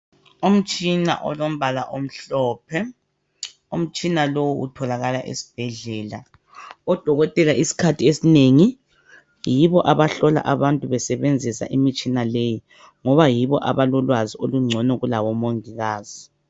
Umtshina olombala omhlophe umtshina lowu utholakala esibhedlela odokotela isikhathi esinengi yibo abahlola abantu besebenzisa imtshina leyi ngoba yibo abalolwazi olunengi ukudlula omongikazi